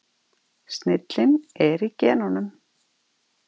Snillin er í genunum.